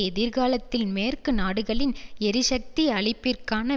எதிர்காலத்தில் மேற்கு நாடுகளின் எரிசக்தி அளிப்பிற்கான